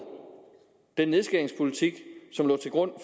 den nedskæringspolitik som lå til grund